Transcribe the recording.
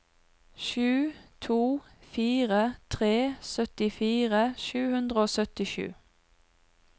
sju to fire tre syttifire sju hundre og syttisju